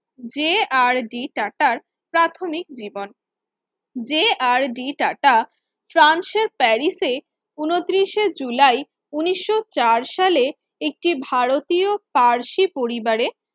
যে আর ডি টাটার প্রাথমিক জীবন যে আর ডি টাটা ফ্রান্সের প্যারিসে উনতিরিস এ জুলাই উন্নিশশো চার সালে একটি ভারতীয় পারসী পরিবারের